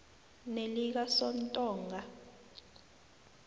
nelikasontonga